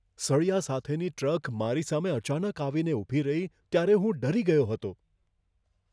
સળિયા સાથેની ટ્રક મારી સામે અચાનક આવીને ઊભી રહી ત્યારે હું ડરી ગયો હતો.